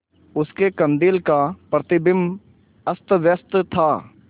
उसके कंदील का प्रतिबिंब अस्तव्यस्त था